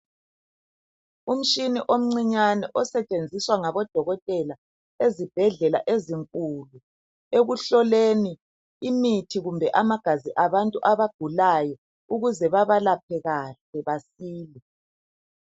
Umshini omncinyane osetshenziswa ngabo dokotela ezibhedlela ezinkulu ekuhloleni imithi kumbe amagazi abantu abagulayo ukuze babalaphe kahle baphile